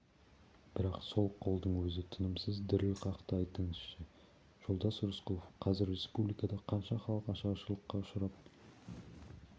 бірақ сол қолдың өзі тынымсыз діріл қақты айтыңызшы жолдас рысқұлов қазір республикада қанша халық ашаршылыққа ұшырап